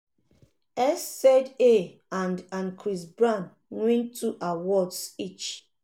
sza and and chris brown win two awards each.